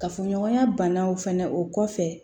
Kafoɲɔgɔnya banaw fana o kɔfɛ